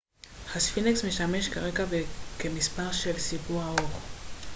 הספינקס משמש כרקע וכמספר של סיפור ארוך